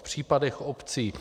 V případech obcí